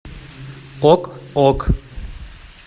ок ок